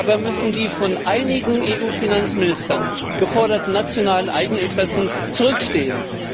Dabei müssen die von einigen EU Finanzministern geforderten nationalen Eigeninteressen zurückstehen.